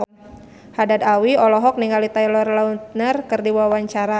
Haddad Alwi olohok ningali Taylor Lautner keur diwawancara